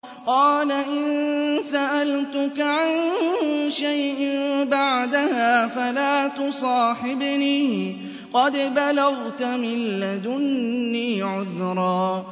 قَالَ إِن سَأَلْتُكَ عَن شَيْءٍ بَعْدَهَا فَلَا تُصَاحِبْنِي ۖ قَدْ بَلَغْتَ مِن لَّدُنِّي عُذْرًا